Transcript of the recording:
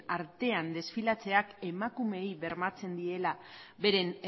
artean desfilatzeak emakumeei bermatzen diela beren